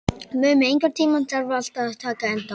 Mummi, einhvern tímann þarf allt að taka enda.